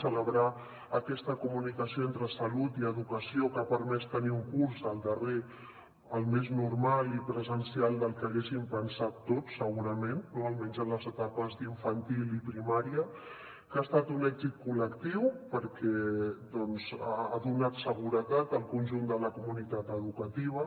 celebrar aquesta comunicació entre salut i educació que ha permès tenir un curs el darrer el més normal i presencial del que haguéssim pensat tots segurament no almenys en les etapes d’infantil i primària que ha estat un èxit col·lectiu perquè ha donat seguretat al conjunt de la comunitat educativa